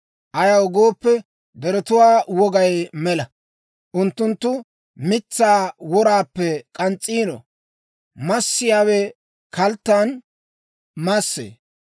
Ayaw gooppe, deretuwaa wogay mela. Unttunttu mitsaa woraappe k'ans's'iino; massiyaawe kalttan massee.